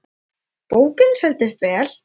Bókin seldist vel.